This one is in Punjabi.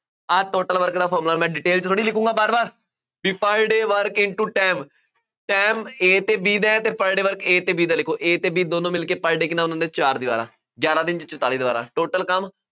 ਆਹ total work ਦਾ formula ਮੈਂ detail ਚ ਥੋੜ੍ਹੀ ਲਿਖੂਗਾਂ ਵਾਰ ਵਾਰ, ਬਈ per day work into time time A ਅਤੇ B ਦਾ ਹੈ ਅਤੇ Per day work A ਅਤੇ B ਦਾ ਲਿਖੋ, A ਅਤੇ B ਦੋਨੋ ਮਿਲਕੇ per day ਕਿੰਨਾ ਬਣਾਉਂਦੇ ਆ, ਚਾਰ ਦੀਵਾਰਾਂ, ਗਿਆਰਾਂ ਦਿਨਾਂ ਚ ਚੁਤਾਲੀ ਦੀਵਾਰਾਂ total ਕੰਮ